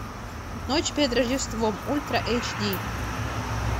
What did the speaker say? ночь перед рождеством ультра эйч ди